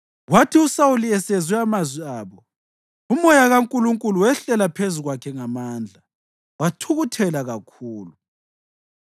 Kwathi uSawuli esezwe amazwi abo, uMoya kaNkulunkulu wehlela phezu kwakhe ngamandla, wathukuthela kakhulu.